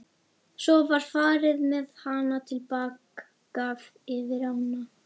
Svo var farið með hana til baka yfir ána.